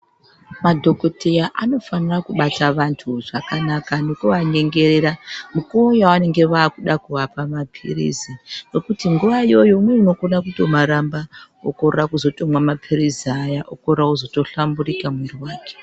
Madhokodheya anofanira kubata vanthu zvakanaka nokuvanyengerera mukuwo yavanenge vaa kuda kuvapa mapirizi ngekuti nguwa iyoyo umweni unokona kutomaramba okorera kumwa mapirizi aya okorera kutozohlamburika mwiri wake.